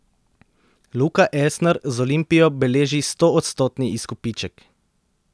Luka Elsner z Olimpijo beleži stoodstotni izkupiček.